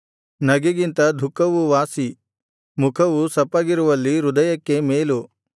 ನಗೆಗಿಂತ ದುಃಖವು ವಾಸಿ ಮುಖವು ಸಪ್ಪಗಿರುವಲ್ಲಿ ಹೃದಯಕ್ಕೆ ಮೇಲು